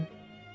Getdim.